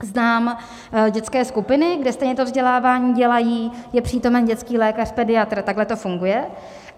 Znám dětské skupiny, kde stejně to vzdělávání dělají, je přítomen dětský lékař, pediatr, takhle to funguje.